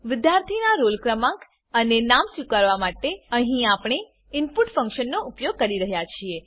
વિદ્યાર્થીનાં roll ક્રમાંક અને નામ સ્વીકારવા માટે અહીં આપણે ઇનપુટ ફંક્શનનો ઉપયોગ કરી રહ્યા છીએ